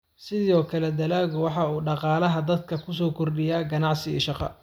Sidoo kale, dalaggu waxa uu dhaqaalaha dalka ku soo kordhiyaa ganacsi iyo shaqo.